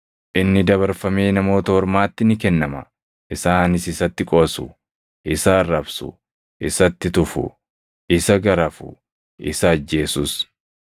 Inni dabarfamee Namoota Ormaatti ni kennama. Isaanis isatti qoosu; isa arrabsu; isatti tufu; isa garafu; isa ajjeesus.